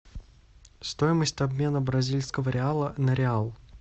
стоимость обмена бразильского реала на реал